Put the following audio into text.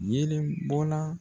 Yelen bɔnna